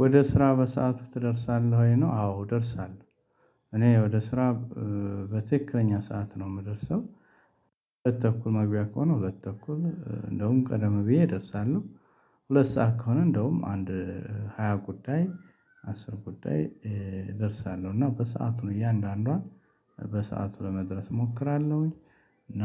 ወደ ስራ በሰአቱ ትደርሳለህ ወይ ነው። አዎ እደርሳለሁ። እኔ ወደ ስራ በትክክለኛ ሰዓት ነው የምደርሰው። ሁለት ተኩል መግቢያ ከሆነው ሁለት ተኩል እንደውም ቀደም ብዬ እደርሳለሁ። ሁለት ሰዓት ከሆነ እንደውም አንድ ሃያ ጉዳይ አስር ጉዳይ ደርሳለሁ እና በሰአቱ እያንዳንዷን በሰአቱ ለመድረስ እሞክራለሁኝ እና